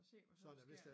Se hvad så der sker